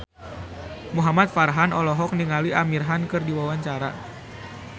Muhamad Farhan olohok ningali Amir Khan keur diwawancara